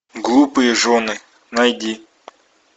глупые жены найди